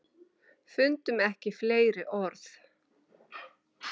Fundum ekki fleiri orð.